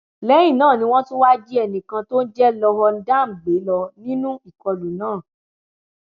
lẹyìn náà ni wọn tún wáá jí ẹnì kan tó ń jẹ lorhon dam gbé lọ nínú ìkọlù náà